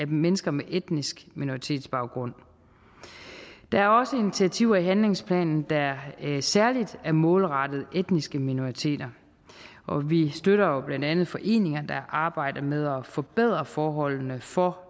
mennesker med etnisk minoritetsbaggrund der er også initiativer i handlingsplanen der særlig er målrettet etniske minoriteter og vi støtter blandt andet foreninger der arbejder med at forbedre forholdene for